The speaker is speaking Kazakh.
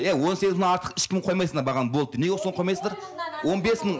иә он сегіз мыңнан артық ешкім қоймайсыңдар бағаны болды деп неге соны қоймайсыңдар он бес мың